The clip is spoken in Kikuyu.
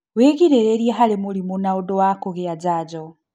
Wĩgirĩrĩrie harĩ mĩrimũ na ũndũ wa kũgĩa njanjo